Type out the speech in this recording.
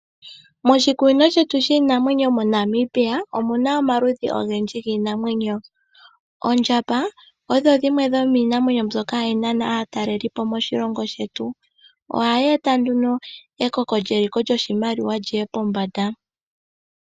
Moshikunino shiinamwenyo moNamibia omuna omaludhi ogendji giinamwenyo, oondjamba odho dhimwe dhomiimamwenyo mbyoka hayi nana aatalelipo moshilongo shetu. Ohayi eta ekoko lyoshimaliwa lyiye pombanda.